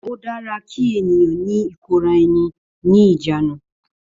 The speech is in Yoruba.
Ó dára kí ènìyàn ní ìkóraẹni ní ìjánu